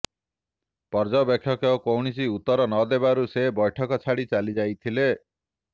ପର୍ଯ୍ୟବେକ୍ଷକ କୌଣସି ଉତ୍ତର ନଦେବାରୁ ସେ ବୈଠକ ଛାଡି ଚାଲିଯାଇଥିଲେ